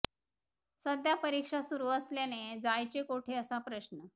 सध्या परीक्षा सुरू असल्याने जायचे कोठे असा प्रश्न